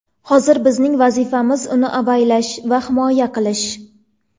Hozir bizning vazifamiz uni avaylash va himoya qilish.